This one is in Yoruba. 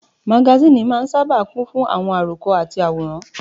Magasíìnì máa n sáábà kún fún àwọn àròkọ àti àwòrán